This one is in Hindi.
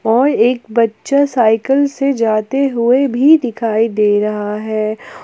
और एक बच्चा साइकल से जाते हुए भी दिखाई दे रहा है।